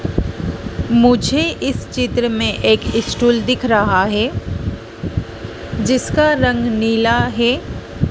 मुझे इस चित्र में एक स्टूल दिख रहा है जिसका रंग नीला है।